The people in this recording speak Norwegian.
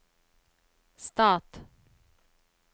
stat